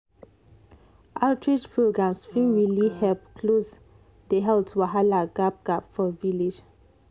outreach programs fit really help close the health wahala gap gap for village.